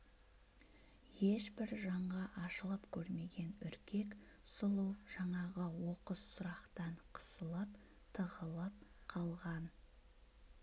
ешбір жанға ашылып көрмеген үркек сұлу жаңағы оқыс сұрақтан қысылып тығылып қалған